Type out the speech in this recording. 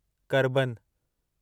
करबन